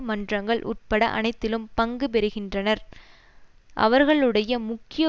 மன்றங்கள் உட்பட அனைத்திலும் பங்கு பெறுகின்றனர் அவர்களுடைய முக்கிய